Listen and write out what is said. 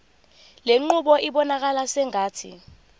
lenqubo ibonakala sengathi